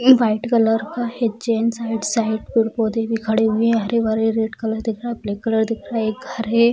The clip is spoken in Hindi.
एक वाइट कलर का है जेंट्स राइट साइड | पेड़-पौधे भी खड़े हुए हैं हरे-भरे रेड कलर दिख रहा है ब्लैक कलर दिख रहा है एक घर है |